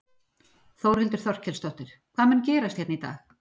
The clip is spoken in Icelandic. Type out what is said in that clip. Þórhildur Þorkelsdóttir: Hvað mun gerast hérna í dag?